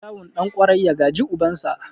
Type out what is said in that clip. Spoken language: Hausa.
Kyawun ɗan ƙwarai, ya gaji ubansa.